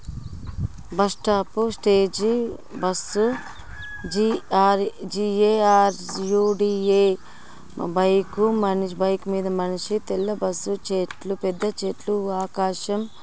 Bus stop stage bus జి_ఆర్_జి_ఏ_ఆర్_యు_డి_ఎ bike bike మీద మనిషి తెల్ల బస్సు చెట్లు పెద్ద చెట్లు ఆకాశం.